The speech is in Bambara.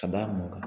Ka b'a mɔ